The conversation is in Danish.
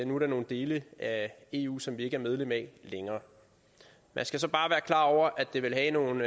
nogle dele af eu som vi ikke er medlem af længere man skal så bare være klar over at det vil have nogle